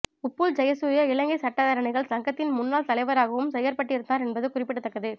உப்புல் ஜெயசூரிய இலங்கை சட்டத்தரணிகள் சங்கத்தின் முன்னாள் தலைவராகவும் செயற்பட்டிருந்தார் என்பது குறிப்பிடத்தக்கது